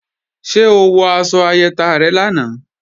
Ṣé o wọ aṣọ ayẹta rẹ lánàá?